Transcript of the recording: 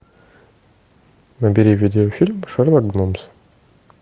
набери видеофильм шерлок гномс